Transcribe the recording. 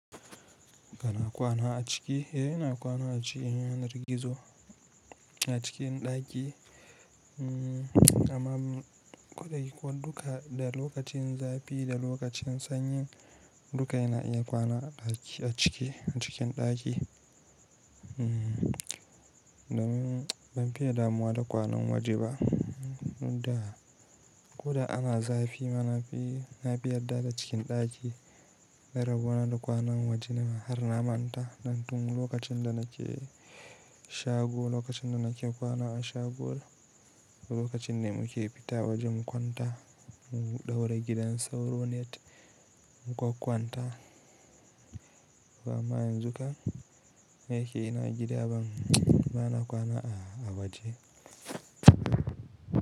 Kana kwana a ciki, eh yana kwana a cikin yanar gizo a cikin ɗaki amma ko duka da lokacin zafi da lokacin sanyi duka yana iya kwana a ɗaki a ciki, a cikin ɗaki. Ban fiye damuwa da kwanan waje ba, ko da ana zafi ma na fi na fi yarda da cikin ɗaki. Na rabona da kwanan waje na har na manta nan tun lokacin da nake shago, lokacin da nake kwana a shago lokacin ne muke fita waje mu kwanta mu ɗaure gidan sauro, net mu kwan-kwanta. To amma yanzu kam da yake ina gida ba, bana kwana a waje.